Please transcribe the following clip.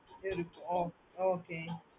hmm oh okay